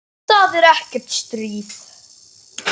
Því það er ekkert stríð.